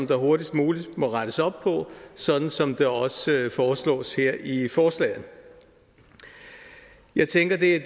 der hurtigst muligt må rettes op på sådan som det også foreslås her i forslaget jeg tænker at det er